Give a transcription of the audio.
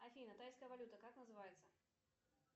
афина тайская валюта как называется